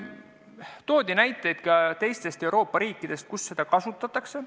Toodi näiteid ka teistest Euroopa riikidest, kus seda kasutatakse.